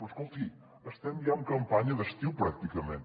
però escolti estem ja en campanya d’estiu pràcticament